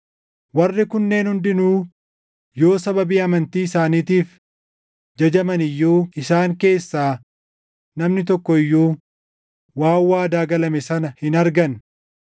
Warri kunneen hundinuu yoo sababii amantii isaaniitiif jajaman iyyuu isaan keessaa namni tokko iyyuu waan waadaa galame sana hin arganne.